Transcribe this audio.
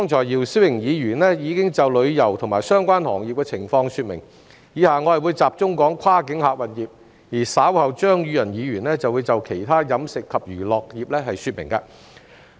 姚思榮議員剛才已就旅遊及相關行業的情況作出說明，我以下會集中談論跨境客運業，而稍後張宇人議員會就其他飲食及娛樂業說明。